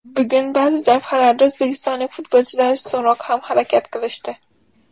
Bugun baʼzi jabhalarda o‘zbekistonlik futbolchilar ustunroq ham harakat qilishdi.